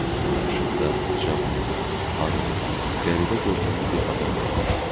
Qarşımda uca boylu, arıq, qəribə görkəmli bir adam dayanmışdı.